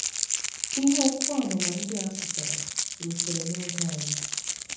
Ihe okwu amụma ndị a pụtara rutere n’oge anyị.